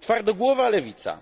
Twardogłowa lewica